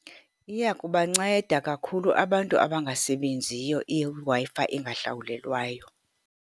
Iya kubanceda kakhulu abantu abangasebenziyo iWi-Fi engahlawulelwayo.